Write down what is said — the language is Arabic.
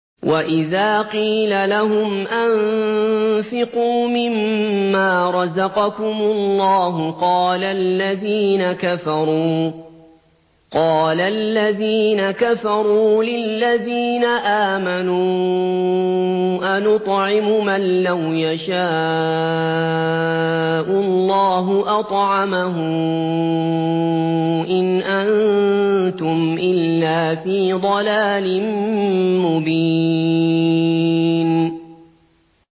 وَإِذَا قِيلَ لَهُمْ أَنفِقُوا مِمَّا رَزَقَكُمُ اللَّهُ قَالَ الَّذِينَ كَفَرُوا لِلَّذِينَ آمَنُوا أَنُطْعِمُ مَن لَّوْ يَشَاءُ اللَّهُ أَطْعَمَهُ إِنْ أَنتُمْ إِلَّا فِي ضَلَالٍ مُّبِينٍ